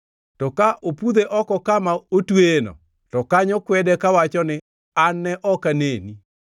To ka opudhe oko kama otweyeno, to kanyo kwede kawacho ni, ‘An ne ok aneni!’